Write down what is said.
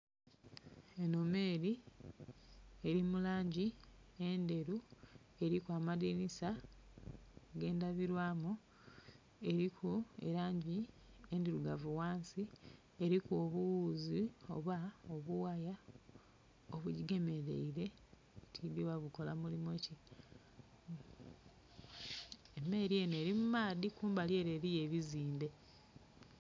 Eno meri eri mu langi endheru eliku amadhinisa agendabirwamu, eliku elangi endhirugavu wansi, eliku obughuzi oba obuwaaya obugigemeleire tidhi oba bukola mulimu ki. Meri eno eli mu maadhi kumbali ere eliyo ebizimbe.